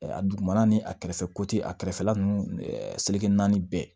A dugumana ni a kɛrɛfɛ ko tɛ a kɛrɛfɛla ninnu seleke naani bɛɛ